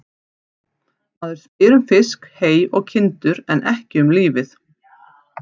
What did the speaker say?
Maður spyr um fisk, hey og kindur en ekki um lífið.